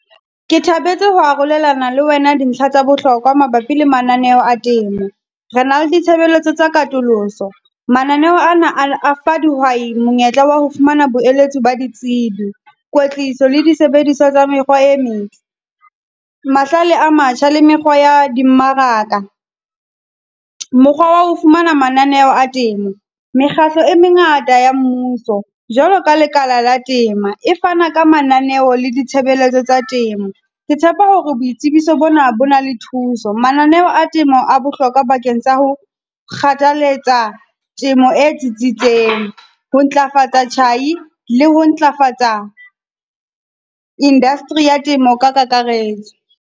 Ke thabetse ho arolelana le wena dintlha tsa bohlokwa mabapi le mananeo a temo, re na le ditshebeletso tsa katoloso. Mananeho ana a a fa dihwai monyetla wa ho fumana boeletsi ba ditsebi, kwetliso le disebediswa tsa mekgwa e metle, mahlale a matjha le mekgwa ya di mmaraka. Mokgwa wa ho fumana mananeho a temo. Mekgatlo e mengata ya mmuso, jwalo ka lekala la temo, e fana ka mananeo le ditshebeletso tsa temo. Ke tshepa hore boitsebiso bona bo na le thuso. Mananeo a temo a bohlokwa bakeng tsa ho kgathaletsa temo e tsitsitseng, ho ntlafatsa tjhai le ho ntlafatsa industry ya temo ka kakaretso.